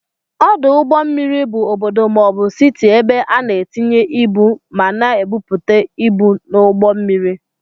Ọdụ ụgbọ mmiri bụ ọbọdọ maọbu Citi ebe ana etinye ịbụ ma na ebupute ịbụ n'ugbó mmiri.